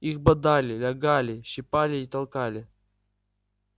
их бодали лягали щипали и толкали